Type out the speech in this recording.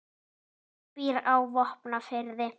Atli býr á Vopnafirði.